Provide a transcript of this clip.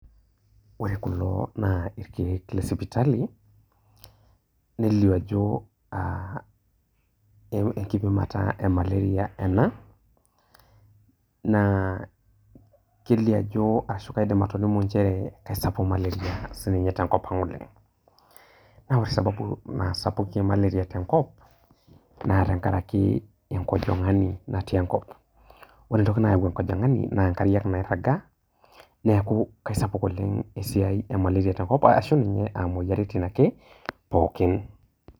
ore kulo naa irkeek le sipitali, nelio ajo enkipimata e amalaria ena. naa kelio ajo ashu kaidim atolimu nchere isapuk maleria si ninye tenkop ang oleng. ore sababu naasapukie maleria tenkop naa tenkaraki enkojingani natii enkop. ore entoki nayau enkojingani naa nkariak naairagaa, neeku isapuk oleng esiai emaleria tenkop ashu ninye imoyiaritin ake pookin.